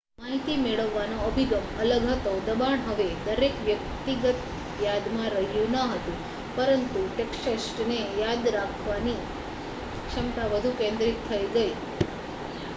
માહિતી મેળવવાનો અભિગમ અલગ હતો દબાણ હવે દરેક વ્યક્તિગત યાદમાં રહ્યું ન હતું પરંતુ ટેક્સ્ટને યાદ કરવાની ક્ષમતા વધુ કેન્દ્રિત થઈ ગઈ